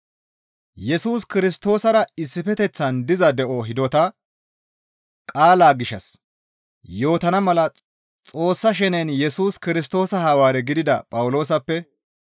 Yesus Kirstoosara issifeteththan diza de7o hidota qaala gishshas yootana mala Xoossa shenen Yesus Kirstoosa Hawaare gidida Phawuloosappe,